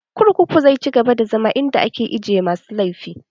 Kurkuku zai ci gaba da zama inda ake ajiye masu laifi